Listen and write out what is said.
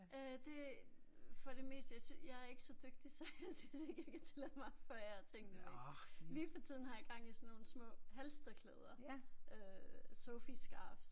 Øh det for det meste jeg jeg er ikke så dygtigt så jeg synes ikke jeg kan tillade mig at forære tingene væk. Lige for tiden har jeg gang i sådan nogle små halstørklæder. Øh Sophie scarves